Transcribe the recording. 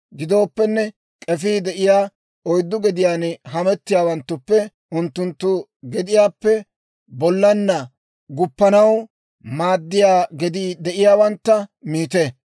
Gidooppenne, k'efii de'iyaa oyddu gediyaan hamettiyaawanttuppe unttunttu gediyaappe bollana guppanaw maaddiyaa gedii de'iyaawantta miite.